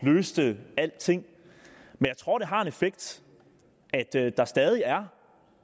løste alting jeg tror det har en effekt at der stadig er